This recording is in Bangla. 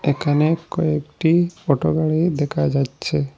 এখানে কয়েকটি অটো গাড়ি দেখা যাচ্ছে।